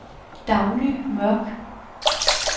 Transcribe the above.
Dagny Mørk